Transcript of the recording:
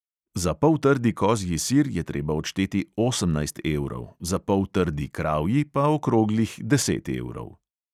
Za poltrdi kozji sir je treba odšteti osemnajst evrov, za poltrdi kravji pa okroglih deset evrov.